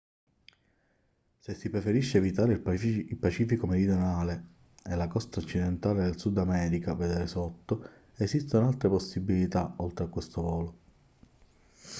se si preferisce evitare il pacifico meridionale e la costa occidentale del sud america vedere sotto esistono altre possibilità oltre a questo volo